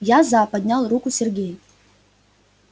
я за поднял руку сергей